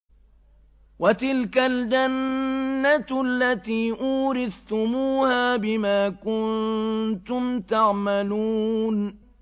وَتِلْكَ الْجَنَّةُ الَّتِي أُورِثْتُمُوهَا بِمَا كُنتُمْ تَعْمَلُونَ